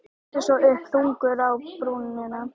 Lítur svo upp, þungur á brúnina.